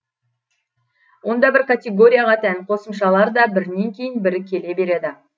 онда бір категорияға тән қосымшалар да бірінен кейін бірі келе береді